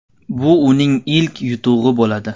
Bu uning ilk yutug‘i bo‘ladi.